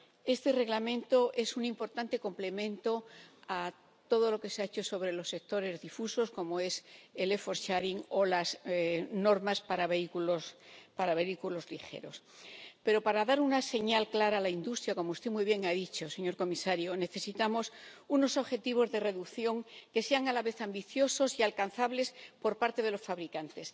Este Reglamento es un importante complemento a todo lo que se ha hecho sobre los sectores difusos, como el e4 share o las normas para vehículos ligeros. Pero para dar una señal clara a la industria, como usted muy bien ha dicho, señor comisario, necesitamos unos objetivos de reducción que sean a la vez ambiciosos y alcanzables por parte de los fabricantes.